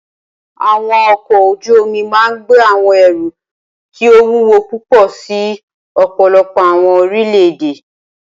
Awọn ọkọ oju omi máa gbe awọn ẹru ti o wuwo pupọ si ọpọlọpọ awọn orilẹ-ede.